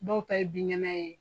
Dɔw ta ye binkɛnɛ ye.